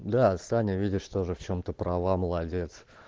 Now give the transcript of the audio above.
да саня видишь тоже в чем-то права молодец